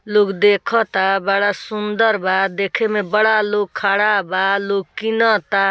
लोग देखता बड़ा सुंदर बा देखे में बड़ा लोग खड़ा बा लोग किनता।